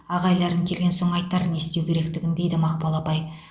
ағайларың келген соң айтар не істеу керектігін дейді мақпал апай